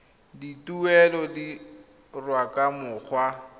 dituelo di dirwa ka mokgwa